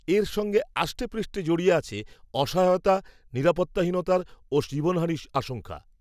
এর সঙ্গে আষ্টেপৃষ্টে জড়িয়ে আছে, অসহায়তা, নিরাপত্তাহীনতার, ও জীবনহানির আশঙ্কা